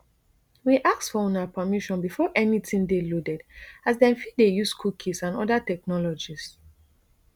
we ask for una permission before anytin dey loaded as dem fit dey use cookies and oda technologies